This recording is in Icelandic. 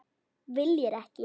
Viljir ekki.